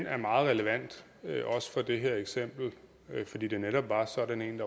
er meget relevant også for det her eksempel fordi det netop var sådan en